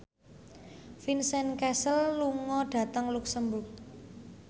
Vincent Cassel lunga dhateng luxemburg